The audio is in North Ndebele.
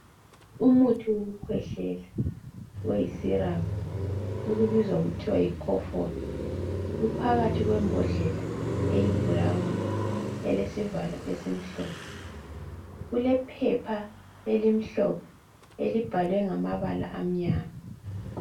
Umuthi wokukhwehlela oyi syrup, okubizwa kuthiwa yi Kofol. Uphakathi kwembodlela eyi brown elesivalo esimhlophe. Kulephepha elimhlophe elibhalwe ngamabala emnyama.